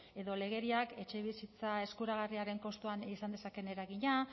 edo legeriak etxebizitza eskuragarriaren kostuan izan dezakeen eragina